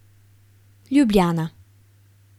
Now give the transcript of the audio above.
Ljubljana.